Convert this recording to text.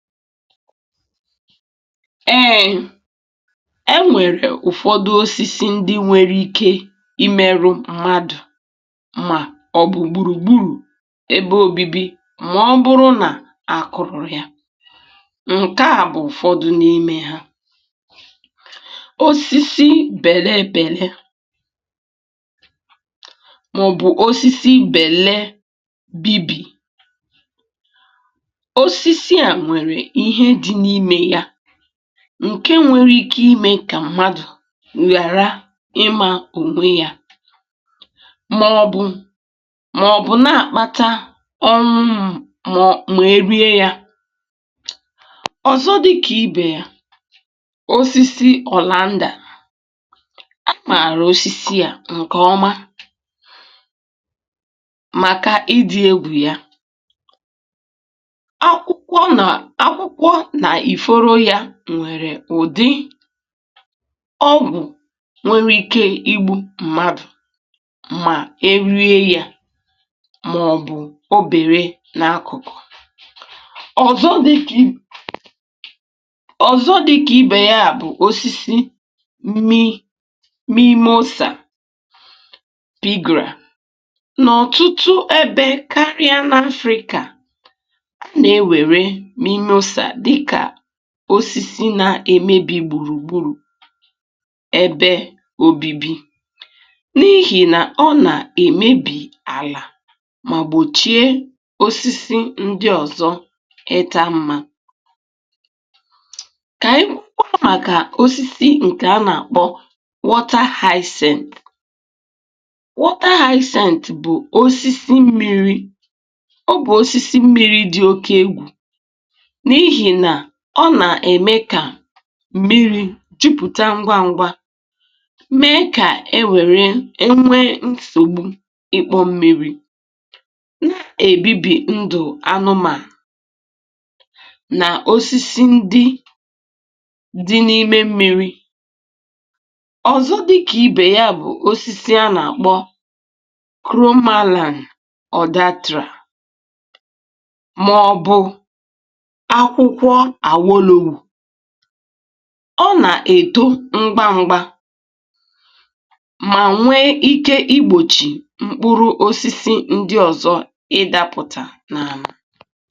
pause) Èè!!! e nwèrè ụ̀fọdụ osisi ndị nwere ike imėru mmadụ̀ mà ọ̀ bụ̀ gbùrùgbùrù ebe ȯbi̇bi̇ màọ̀bụ̀rụ nà-àkụ̀rụ̀ ya, Nke à bụ̀ ụ̀fọdụ n’ime ha osisi bèlee bèlee, màọbụ̀ osisi bèlee bibì osisi a nwere ihe dị n'ime ya, ǹke nwere ike imė kà mmadụ̀ ghàra ịmȧ onwe ya, màọbụ̀ màọbụ̀ na-àkpata ọmụmụ màọ mà-erie ya Ọ́zọ dịkà ibè ya… osisi ọ̀landa á mara osisi à ǹkè ọma màkà idi egwù ya, akwụkwọ nà akwụkwọ na ì fọrọ yȧ nwèrè ụ̀dị ọgwụ̀ nwere ike ịgbụ̇ mmadụ̀ mà erie yȧ màọ̀bụ̀ obère n’akụ̀kụ̀. Ọ́zọ dị kà i ọ̀zọ dị kà ibè ya bụ̀ osisi mimosa pigra n’ọ̀tụtụ ebe karịa n’afrika osisi na-emebi gburugburu ebe obibi. N’ihi na ọ na-emebi ala ma gbochie osisi ndị ọzọ ịta mma ka ị kụọ maka osisi nke a na-akpọ wọta haịsént. Wọta haịsént bụ osisi mmiri ọ bụ osisi mmiri dị oke egwù, n'ihi na ọna eme ka mmiri̇ jụpụ̀ta ngwa ngwa mee kà e nwèrè e nwee nsògbu ịkpọ̇ mmiri̇, na-èbibi ndụ̀ anụmà nà osisi ndị dị n’ime mmiri̇. Ọ́zọ dịkà ibè ya bụ̀ osisi a nà-àkpọ kromaalans m’ọbu akwụkwọ awolowo, ọ nà-èto ṁgba ṁgba mà nwee ike igbòchì mkpụrụ osisi ndị ọ̀zọ ịdapụ̀tà nà-ana.